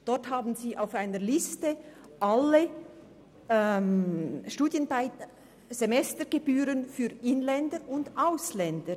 Dort finden Sie auf einer Liste aufgeführt alle Semestergebühren für Inländer und Ausländer.